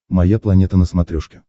моя планета на смотрешке